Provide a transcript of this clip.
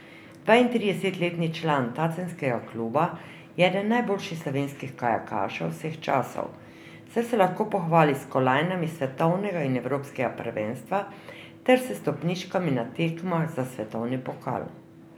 Dvaintridesetletni član tacenskega kluba je eden najboljših slovenskih kajakašev vseh časov, saj se lahko pohvali s kolajnami s svetovnega in evropskega prvenstva ter s stopničkami na tekmah za svetovni pokal.